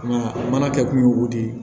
mana kɛ kun ye o de ye